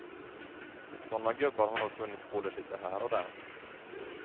Och såna gubbar har nog funnits både lite här och där.